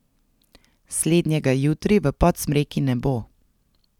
Slednjega jutri v Podsmreki ne bo.